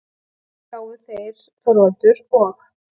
Þannig gátu þeir Þorvaldur og